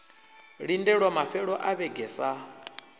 lindelwa mafhelo a vhege sa